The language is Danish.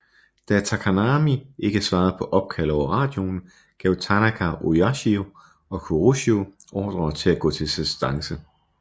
Da Takanami ikke svarede på opkald over radioen gav Tanaka Oyashio og Kuroshio ordre til at gå til assistance